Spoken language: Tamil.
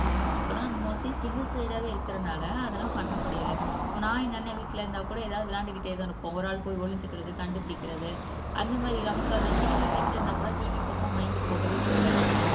இப்போல்லாம் மோஸ்ட்லி சிங்கள் சைல்ட்டா இருக்கிறதுனால அதெல்லாம் பண்ண முடியல நான் எங்க அண்ணன் வீட்டுல இருந்தா கூட எதாவது விளையாண்டுக்கிட்டேதான் இருப்போம் ஒரு ஆள் போய் ஒளிஞ்சுக்கிறது கண்டுபிடிக்கிறது அந்த மாதிரி நமக்கு அந்த TV வீட்டுல இருந்தாக்கூட TV பக்கம் மைண்ட் போகவே போகாது